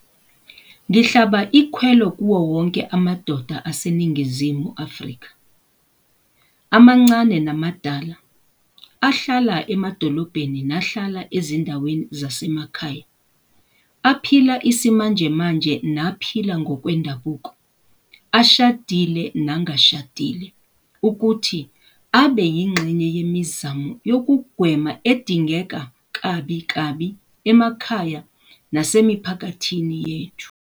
Ngihlaba ikhwelo kuwowonke amadoda aseNingizimu Afrika, amancane namadala, ahlala emadolobheni nahlala ezindaweni zasemakhaya, aphila isimanjemanje naphila ngokwendabuko, ashadile nangashadile, ukuthi abe yingxenye yemizamo yokugwema edingeka kabikabi emakhaya nasemiphakathini yethu.